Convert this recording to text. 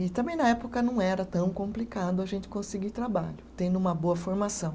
E também na época não era tão complicado a gente conseguir trabalho, tendo uma boa formação.